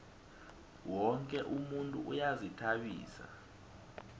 woke umuntu uyazihtabisa